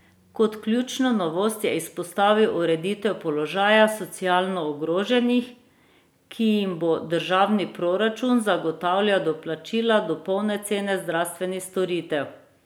Kot ključno novost je izpostavil ureditev položaja socialno ogroženih, ki jim bo državni proračun zagotavljal doplačila do polne cene zdravstvenih storitev.